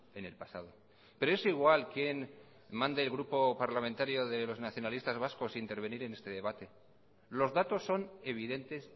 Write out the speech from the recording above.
en el pasado pero es igual quien mande el grupo parlamentario de los nacionalistas vascos intervenir en este debate los datos son evidentes